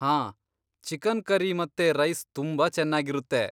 ಹಾಂ, chicken curry ಮತ್ತೆ rice ತುಂಬಾ ಚೆನ್ನಾಗಿರುತ್ತೆ.